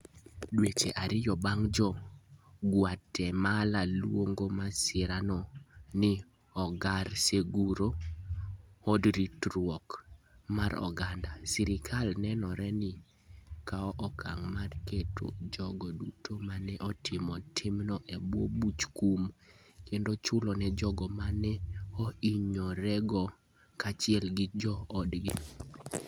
Dweche ariyo bang ' Jo - Guatemala luongo masirano ni Hogar Seguro (Od Ritruok) mar oganda, sirkal nenore ni kawo okang ' mar keto jogo duto ma ne otimo timno e bwo buch kum, kendo chulo ne jogo ma ne ohinyorego kaachiel gi joodgi.